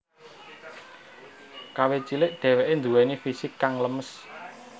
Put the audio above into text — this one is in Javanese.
Kawit cilik dheweke duweni fisik kang lemes